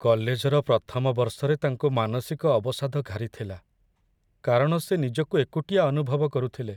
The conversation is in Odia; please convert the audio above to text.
କଲେଜର ପ୍ରଥମ ବର୍ଷରେ ତାଙ୍କୁ ମାନସିକ ଅବସାଦ ଘାରିଥିଲା କାରଣ ସେ ନିଜକୁ ଏକୁଟିଆ ଅନୁଭବ କରୁଥିଲେ।